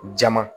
Jama